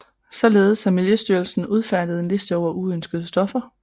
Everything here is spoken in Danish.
Således har Miljøstyrelsen udfærdiget en liste over uønskede stoffer